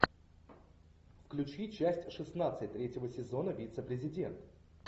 включи часть шестнадцать третьего сезона вице президент